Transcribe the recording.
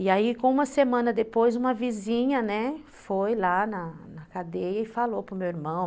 E aí, com uma semana depois, uma vizinha foi lá na na cadeia e falou para o meu irmão.